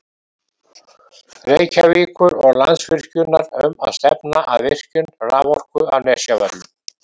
Reykjavíkur og Landsvirkjunar um að stefna að virkjun raforku á Nesjavöllum.